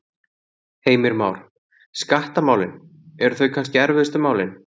Heimir Már: Skattamálin, eru þau kannski erfiðustu málin?